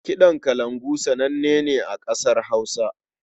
Kiɗan kalangu sananne ne a ƙasar Hausa.